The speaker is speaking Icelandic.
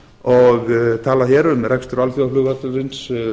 og talað hér um rekstur alþjóðaflugvallarins